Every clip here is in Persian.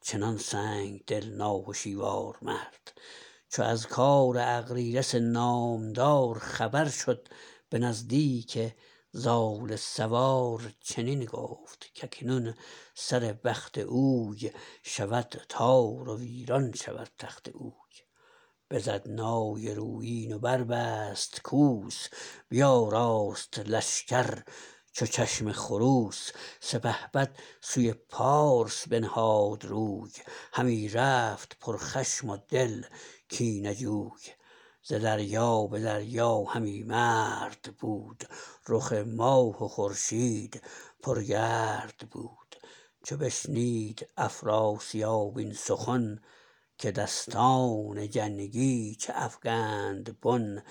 چنان سنگدل ناهشیوار مرد چو از کار اغریرث نامدار خبر شد به نزدیک زال سوار چنین گفت که اکنون سر بخت اوی شود تار و ویران شود تخت اوی بزد نای رویین و بربست کوس بیاراست لشکر چو چشم خروس سپهبد سوی پارس بنهاد روی همی رفت پر خشم و دل کینه جوی ز دریا به دریا همی مرد بود رخ ماه و خورشید پر گرد بود چو بشنید افراسیاب این سخن که دستان جنگی چه افگند بن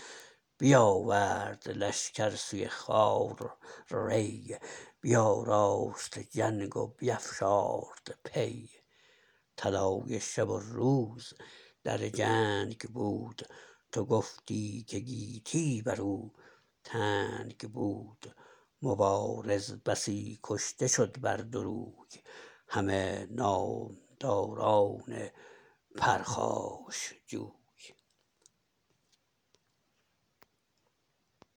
بیاورد لشکر سوی خوار ری بیاراست جنگ و بیفشارد پی طلایه شب و روز در جنگ بود تو گفتی که گیتی بر او تنگ بود مبارز بسی کشته شد بر دو روی همه نامداران پرخاشجوی